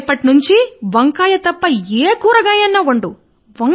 రేపటి నుండి వేరే ఏవైనా కూరగాయలు వండు